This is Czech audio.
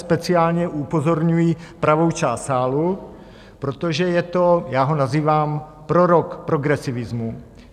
Speciálně upozorňuji pravou část sálu, protože je to, já ho nazývám prorok progresivismu.